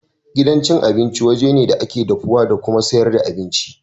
Gidan abinci waje ne da ake dafuwa da kuma sayar da abinci.